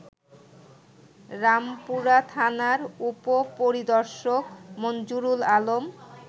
রামপুরাথানার উপপরিদর্শক মঞ্জুরুল আলম